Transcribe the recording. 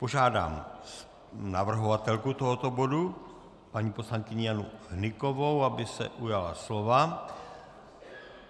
Požádám navrhovatelku tohoto bodu paní poslankyni Janu Hnykovou, aby se ujala slova.